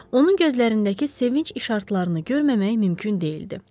Onun gözlərindəki sevinc işartılarını görməmək mümkün deyildi.